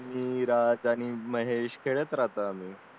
विराज आणि महेश खेळता असतो आम्ही